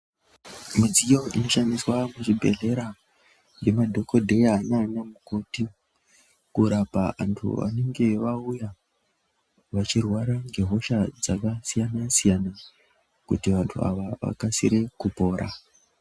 Midziyo inoshandiswa kuzvibhehlera nemadhokodheya nana mukoti kurapa vantu anenge vauya vachirwara nehosha dzakasiyana siyana kuti vantu ava avakasire kupora.